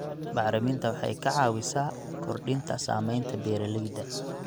Bacriminta waxay caawisaa kordhinta saamaynta beeralayda.